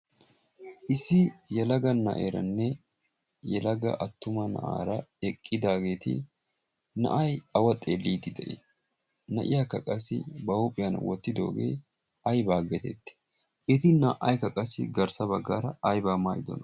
issi yalaga na'eeranne yalaga attuma na'aara eqqidaageeti na'ay awa xee liiti de'i na'iya ka qassi ba huuphiyan wottidoogee aibaa getetti eti na''ay kaqassi garssa baggaara aybbaa maayidona